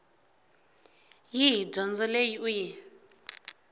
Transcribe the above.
yihi dyondzo leyi u yi